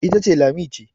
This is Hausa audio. ita ce Lami ce